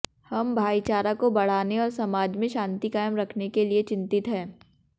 हम भाईचारा को बढ़ाने और समाज में शांति कायम रखने के लिए चिंतित हैं